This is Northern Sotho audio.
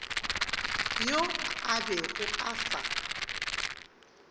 yo a bego a sa